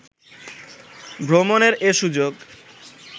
ভ্রমণের এ সুযোগ